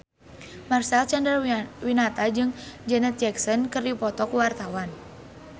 Marcel Chandrawinata jeung Janet Jackson keur dipoto ku wartawan